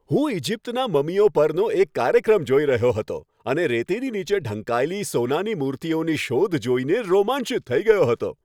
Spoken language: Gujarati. હું ઇજિપ્તનાં મમીઓ પરનો એક કાર્યક્રમ જોઈ રહ્યો હતો અને રેતીની નીચે ઢંકાયેલી સોનાની મૂર્તિઓની શોધ જોઈને રોમાંચિત થઈ ગયો હતો.